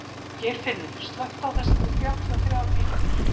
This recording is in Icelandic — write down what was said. Geirfinnur, slökktu á þessu eftir þrjátíu og þrjár mínútur.